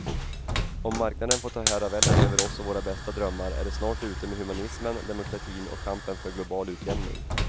Om marknaden får ta herraväldet över oss och våra bästa drömmar är det snart ute med humanismen, demokratin och kampen för global utjämning.